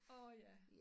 Åh ja